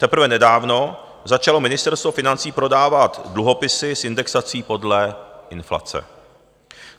Teprve nedávno začalo Ministerstvo financí prodávat dluhopisy s indexací podle inflace.